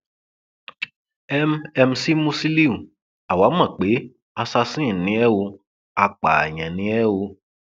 m mc musiliu àwa mọ pé assasin ni ẹ ò apààyàn ni ẹ o